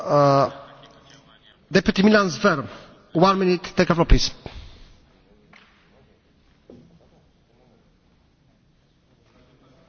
Država, ki se je zadnje desetletje tako uspešno razvijala, je v težkih preizkušnjah. Razloga za destabilizacijo Makedonije sta vsaj dva.